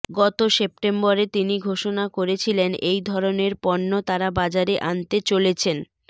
গত সেপ্টেম্বরে তিনি ঘোষনা করেছিলেন এই ধরনের পন্য তারা বাজারে আনতে চলেছেন